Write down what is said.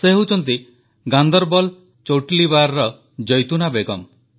ସେ ହେଉଛନ୍ତି ଗାଁନ୍ଦରବଲ ଚୌଟଲିବାରର ଜୈତୁନା ବେଗମ୍